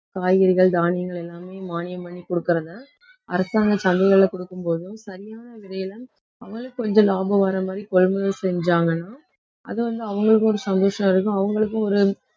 காய்கறிகள், தானியங்கள் எல்லாமே மானியம் பண்ணி கொடுக்கிறதை அரசாங்க சலுகைகள்ல கொடுக்கும் போதும் சரியான விலையில அவங்களுக்கு கொஞ்சம் லாபம் வர மாதிரி கொள்முதல் செஞ்சாங்கன்னா அது வந்து அவங்களுக்கும் ஒரு சந்தோஷம் இருக்கும் அவங்களுக்கும் ஒரு